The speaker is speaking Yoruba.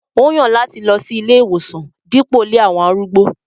Ó yan lati lọ si ìlé-iwosan dipo ilé awọn arúgbó.